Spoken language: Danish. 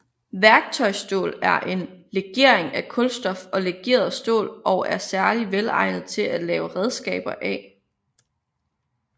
Værktøjsstål er en legering af kulstof og legeret stål og er særligt velegnet til at lave redskaber af